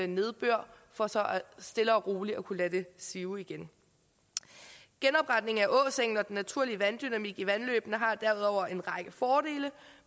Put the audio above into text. nedbør for så stille og roligt at kunne lade det sive igen genopretning af åsengen og den naturlige vanddynamik i vandløbene har derudover en række fordele